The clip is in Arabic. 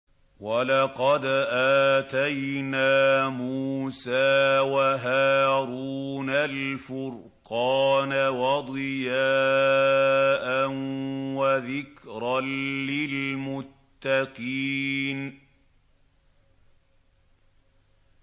وَلَقَدْ آتَيْنَا مُوسَىٰ وَهَارُونَ الْفُرْقَانَ وَضِيَاءً وَذِكْرًا لِّلْمُتَّقِينَ